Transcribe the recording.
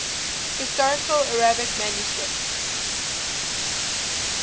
historical arabic manuscripts